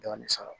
Dɔɔnin sɔrɔ